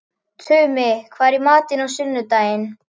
Tumi, hvað er í matinn á sunnudaginn?